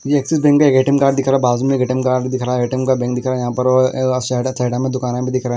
ये Axis bank का एक ए_टी_एम कार्ड दिखा रहा है बाजू में एक ए_टी_एम कार्ड भी दिख रहा है ए_टी_एम का बैंक दिखा रहा है यहाँ पर और सैडा सैडा में दुकान भी दिख रहा है।